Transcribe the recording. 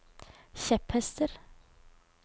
kjepphester